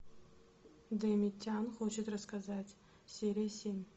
дэми тян хочет рассказать серия семь